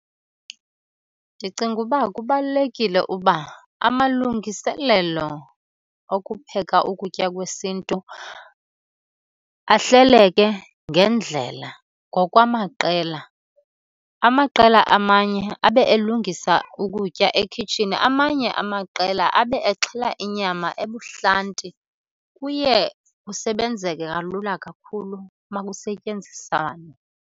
Ndicinga uba kubalulekile uba amalungiselelo okupheka ukutya kwesiNtu ahleleke ngendlela ngokwamaqela. Amaqela amanye abe elungisa ukutya ekhitshini, amanye amaqela abe exhela inyama ebuhlanti. Kuye kusebenzeke kalula kakhulu uma kusetyenziswana.